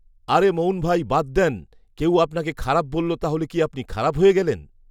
আরে মঊন ভাই বাদ দেন কেউ আপনাকে খারাপ বলল তাহলে কি আপনি খারাপ হয়ে গেলেন